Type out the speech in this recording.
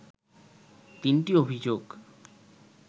তিনটি অভিযোগ